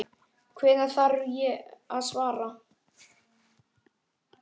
Hvenær þarf ég að svara?